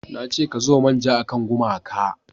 na ce ka zuba manja a kan gumaka!